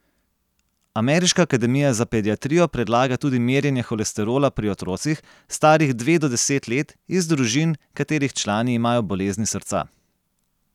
Ameriška akademija za pediatrijo predlaga tudi merjenje holesterola pri otrocih, starih dve do deset let, iz družin, katerih člani imajo bolezni srca.